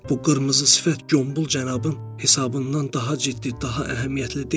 Bu qırmızı sifət qul cənabın hesabından daha ciddi, daha əhəmiyyətli deyil?